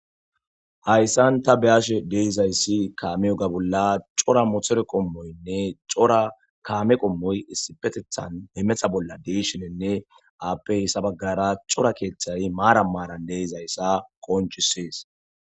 hayssan ta beyashe de'izayssi kaame oga bolla cora mothore qommoynne cora kaame qommoy issipetethan hemetha bolla de'ashenenne aappey sabagara cora keeththay maara maaran deizayssa qonchisees